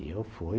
E eu fui.